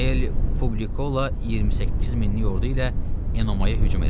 Helli Publikola 28 minlik ordu ilə Enomaya hücum elədi.